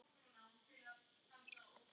Það verður aldrei rútína.